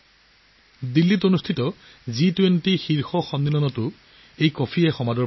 দিল্লীত অনুষ্ঠিত জি ২০ সন্মিলনতো এই কফিৰ জনপ্ৰিয়তা সৰ্বাধিক আছিল